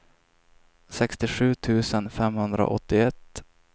sextiosju tusen femhundraåttioett